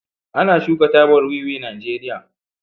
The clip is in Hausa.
ana shuka tabar wiwi Najeriya